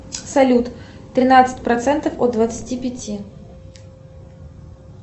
салют тринадцать процентов от двадцати пяти